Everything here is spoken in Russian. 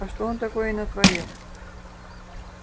а что он такое натворил